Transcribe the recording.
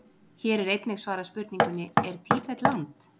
Hér er einnig svarað spurningunni: Er Tíbet land?